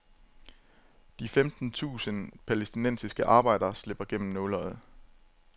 De femten tusind palæstinensiske arbejdere slipper igennem nåleøjet.